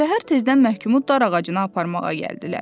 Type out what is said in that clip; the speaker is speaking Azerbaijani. Səhər tezdən məhkumu darağacına aparmağa gəldilər.